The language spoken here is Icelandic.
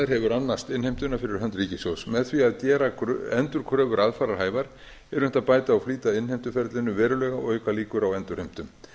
hefur annast innheimtuna fyrir hönd ríkissjóðs með því að gera endurkröfur aðfararhæfar er unnt að bæta og flýta innheimtuferlinu verulega og auka líkur á endurheimtum